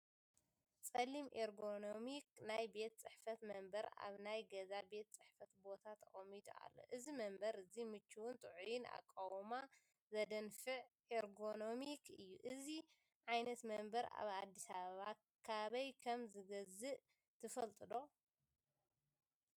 ጸሊም ኤርጎኖሚክ ናይ ቤት ጽሕፈት መንበር ኣብ ናይ ገዛ ቤት ጽሕፈት ቦታ ተቐሚጡ ኣሎ። እዚ መንበር እዚ ምቹእን ጥዑይን ኣቃውማ ዘደንፍዕ ኤርጎኖሚክ እዩ። እዚ ዓይነት መንበር ኣብ ኣዲስ ኣበባ ካበይ ከም ዝገዝእ ትፈልጡ ዶ?